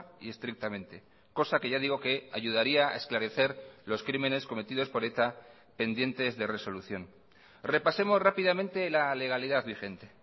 y estrictamente cosa que ya digo que ayudaría a esclarecer los crímenes cometidos por eta pendientes de resolución repasemos rápidamente la legalidad vigente